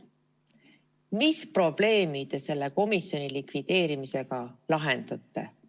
Mis probleemi te selle komisjoni likvideerimisega lahendate?